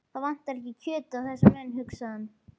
Það vantar ekki kjötið á þessa menn, hugsaði hann.